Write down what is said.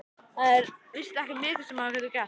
Það er víst ekki mikið sem maður getur gert.